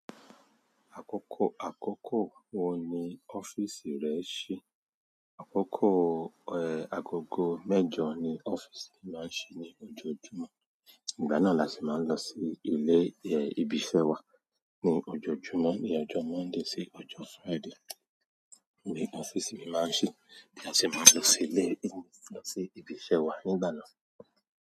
Àkókò àkókò wo ni ọ́ffice rẹ ṣí? Àkókò, eh, agogo mẹ́jọ ni ọ́ffice mi máa ń ṣí ní ojoojúmọ́. Nígbà náà la si máa ń lọ sí ilé, eh, ibi iṣẹ́ wa. Ní ojoojúmọ́, ní ọjọ́ Monday sí ọjọ́ Friday ni office mi máa ń ṣí bí a se máa ń lọ sí ilé, lọ sí ibi iṣẹ́ wa. Nígbà náà.